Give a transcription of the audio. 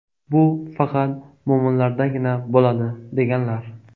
Bu faqat mo‘minlardagina bo‘ladi”, deganlar.